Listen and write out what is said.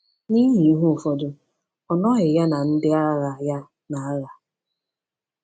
N’ihi ihe ụfọdụ ọnọghị ya na ndị agha ya n’agha.